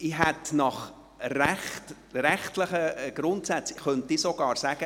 Nach den rechtlichen Grundsätzen könnte ich sogar sagen: